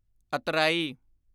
ਅਤਰਾਈ